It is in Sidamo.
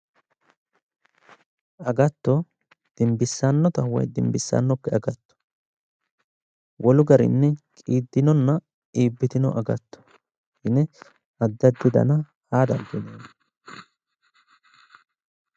agatto dimbissannota woyi dimbissannokki agatto wolu garinni qiiddinonna qiiddinokki agatto yine addi addi dana aa dandiineemmo.